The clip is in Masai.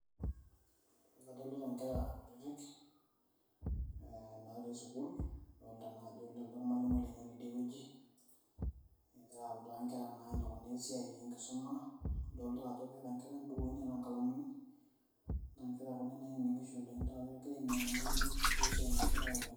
Kadolita nkera kutitik natii sukuul, adolta najo lelido ormalimui lenye lotii die wueji, egira autaa na nkera enikunaa naa esiai enkisuma, adolta keeta nkera bukui neeta nkalamuni, na nkera kuna nainining'isho egira ainining' ormalimui wesiai naasitai oleng'.